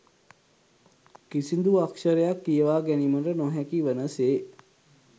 කිසිඳු අක්‍ෂරයක් කියවා ගැනීමට නො හැකි වන සේ